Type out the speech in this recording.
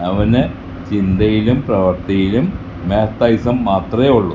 അവന് ചിന്തയിലും പ്രവർത്തിയിലും മാത്തയിസം മാത്രേ ഉള്ളൂ.